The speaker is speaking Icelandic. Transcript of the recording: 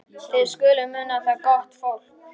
Þið skuluð muna það, gott fólk,